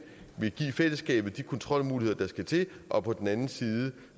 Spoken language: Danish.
fællesskabet de kontrolmuligheder der skal til og på den anden side